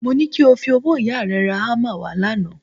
Mo ní kí o fowó ìyá rẹ ra hámà wà lánàá